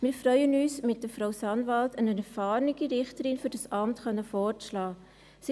Wir freuen uns, mit Frau Sanwald eine erfahrene Richterin für dieses Amt vorschlagen zu können.